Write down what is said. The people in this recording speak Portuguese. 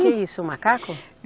Que isso, o macaco?